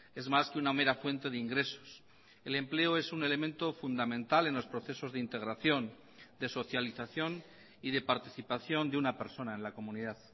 es más que una mera fuente de ingresos el empleo es un elemento fundamental en los procesos de integración de socialización y de participación de una persona en la comunidad